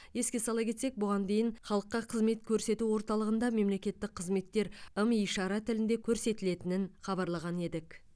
еске сала кетсек бұған дейін халыққа қызмет көрсету орталығында мемлекеттік қызметтер ым ишара тілінде көрсетілетін хабарлаған едік